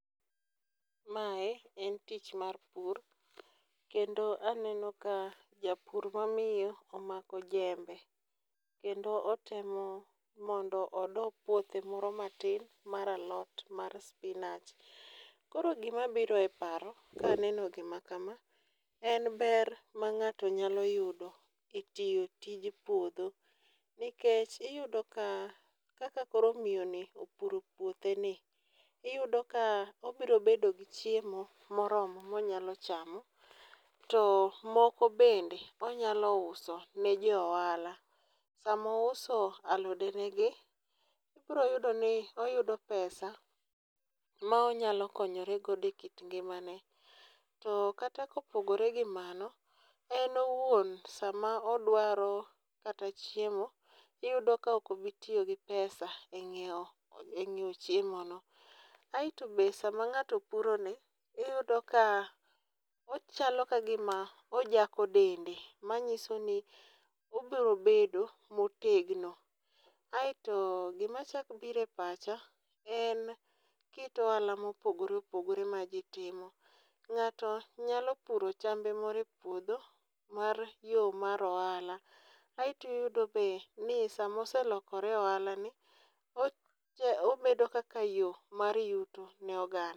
Mae en tich mar pur kendo aneno ka japur mamiyo omako jembe kendo otemo mondo odo puothe moro matin mar alot mar spinach. Koro gima biro e paro ka aneno gima kama, en ber ma ng'ato nyalo yudo etiyo tij puodho. Nikech iyudo ka kaka koro miyoni opuro puotheni iyudo ka obiro bedo gi chiemo moromo monyalo chamo to moko bende onyalo uso ne jo ohala. Sama ouso alodenegi ibiro yudoni oyudo pesa ma onyalo konyore godo ekit ngimane. To kata kopogore gi mano en owuon sama odwaro kata chiemo iyudo ka ok obi tiyogi pesa e ng'iewo e ng'iewo chiemono. Aeto be sama ng'ato puroni iyudo ka ochalo ka gima ojako dende manyisoni obiro bedo motegno. Aeto gima chak biro e pacha en kit ohala mopogore opogore ma ji timo ng'ato nyalo puro chambe moro epuodho mar yoo mar ohala aeto iyudo be ni sama oselokore ohalani obedo kaka yo mar yuto ne oganda.